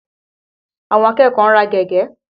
Àwọn akẹ́kọ̀ọ́ ń rà gègé.